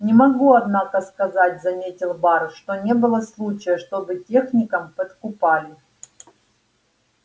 не могу однако сказать заметил бар что не было случая чтобы техника подкупали